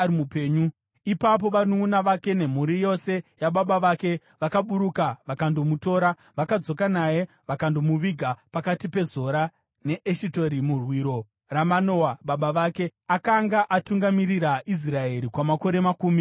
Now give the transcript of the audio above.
Ipapo vanunʼuna vake nemhuri yose yababa vake vakaburuka, vakandomutora. Vakadzoka naye vakandomuviga pakati peZora neEshitaori muhwiro raManoa baba vake. Akanga atungamirira Israeri kwamakore makumi maviri.